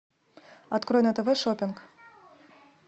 открой на тв шопинг